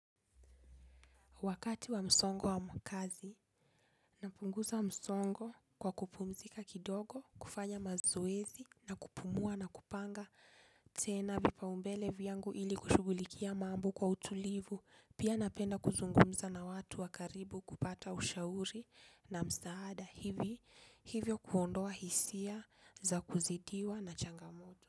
Wakati wa msongo wa makazi, napunguza msongo kwa kupumzika kidogo, kufanya mazoezi na kupumua na kupanga tena vipaumbele vyangu ili kushugulikia mambo kwa utulivu, pia napenda kuzungumza na watu wa karibu kupata ushauri na msaada hivyo kuondoa hisia za kuzidiwa na changamoto.